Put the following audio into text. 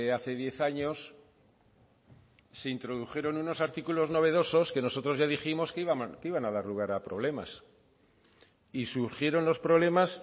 hace diez años se introdujeron unos artículos novedosos que nosotros ya dijimos que iban a dar lugar a problemas y surgieron los problemas